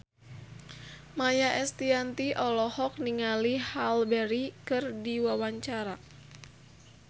Maia Estianty olohok ningali Halle Berry keur diwawancara